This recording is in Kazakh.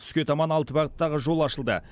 түске таман алты бағыттағы жол ашылды